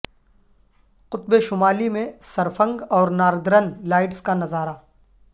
قطب شمالی میں سرفنگ اور ناردرن لائٹس کا نظارہ